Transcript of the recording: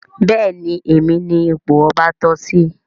Béèni Èmi ní ipò ọba toh sí.